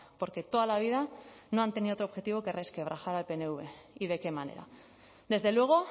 porque toda la vida no han tenido otro objetivo que resquebrajar al pnv y de qué manera desde luego